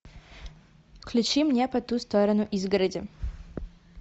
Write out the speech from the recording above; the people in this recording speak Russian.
включи мне по ту сторону изгороди